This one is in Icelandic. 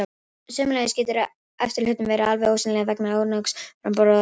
Sömuleiðis getur efri hlutinn verið alveg ósýnilegur vegna ónógs framboðs á raka.